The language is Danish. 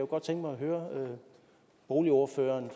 godt tænke mig at høre boligordføreren